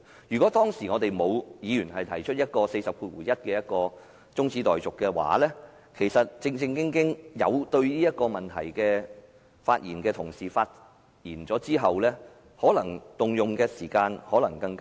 如果沒有議員根據《議事規則》第401條提出中止待續議案，讓對此議題感情趣的同事發言，所花的時間可能更短。